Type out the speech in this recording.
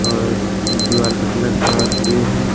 और दीवाल का कलर थोड़ा ग्रे है।